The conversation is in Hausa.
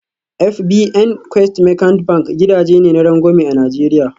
FBN Quest Merchant Bank gidaje ne na rangwame a Najeriya